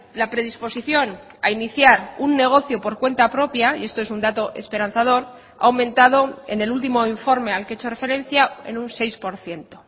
la predisposición a iniciar un negocio por cuenta propia y esto es un dato esperanzador ha aumentado en el último informe al que he hecho referencia en un seis por ciento